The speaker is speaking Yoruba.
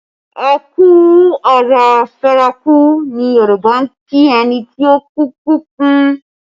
Ẹ kú ará feraku ni Yoruba ń kí ẹni tí òkú kú fún